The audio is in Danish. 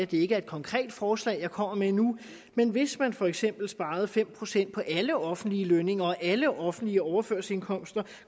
det ikke er et konkret forslag jeg kommer med nu men hvis man for eksempel sparede fem procent på alle offentlige lønninger og alle offentlige overførselsindkomster